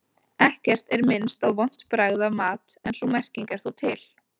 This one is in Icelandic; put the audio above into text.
Ekkert er minnst á vont bragð af mat en sú merking er þó til.